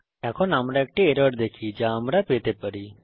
এখন আমরা একটি এরর দেখি যা আমরা পেতে পারি